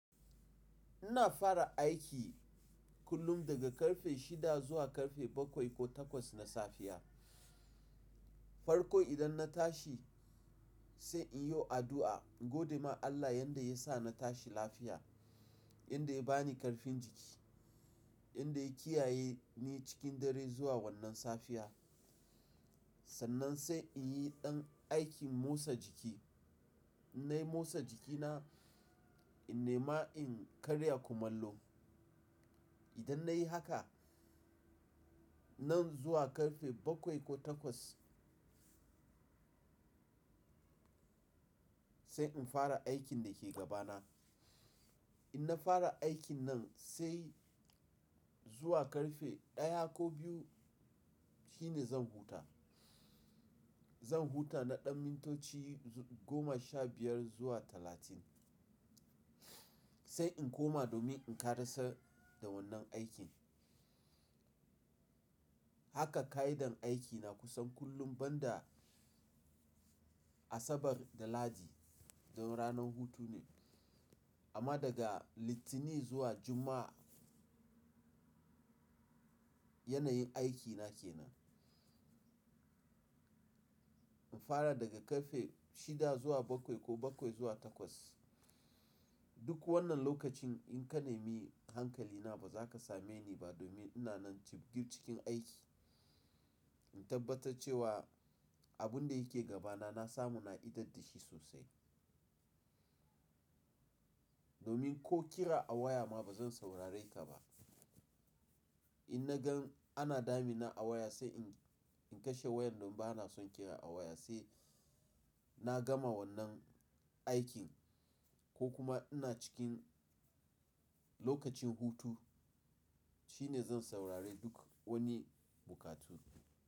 Ina fara aiki kullum daga karfe shida zuwa karfe bakwai ko takwas na safiya. Farko idan na tashi sai in yi addu'a in godema Allah yanda ya sa na tashi lafiya, yanda ya ba ni karfin jiki, yanda ya kiyaye ni cikin dare zuwa wannan safiya. Sannan sai in yi ɗan aikin motsa jiki. Na yi motsa jikina, in nema in karya kumallo. Idan na yi haka nan zuwa karfe bakwai ko takwas sai in fara aikin da ke gabana. In na fara aikin nan sai zuwa karfe ɗaya ko biyu shine zan huta. Zan huta na ɗan mintoci goma sha biyar zuwa talatin sai in koma domin in karasa da wannan aikin. Haka ka'idar aikina kusan kullum banda Asabar da Ladi don ranar hutu ne. Amma daga Litinin zuwa Juma'a yanayin aikina ke nan. In fara daga karfe shida zuwa bakwai ko bakwai zuwa takwas. Duk wannan lokacin in ka nemi hankalina ba za ka same ni ba domin ina nan jib gir cikin aiki in tabbatar cewa abun da yake gabana na samu na idaddashi sosai. Domin ko kira a waya ma ba zan saurare ka ba. In na gan ana damina a waya sai in kashe wayan domin ba na son kira a waya sai na gama wannan aikin ko kuma ina cikin lokacin hutu shine zan saurari duk wani bukatu.